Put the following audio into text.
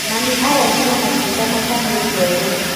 Mami arengire matunda na kahiũ kerũ